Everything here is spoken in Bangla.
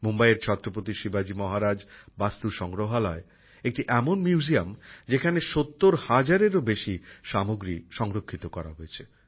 মুম্বাইয়ের ছত্রপতি শিবাজি মহারাজ বাস্তু সংগ্রহালয় একটি এমন মিউজিয়াম যেখানে ৭০ হাজারেরও বেশি সামগ্রী সংরক্ষিত করা হয়েছে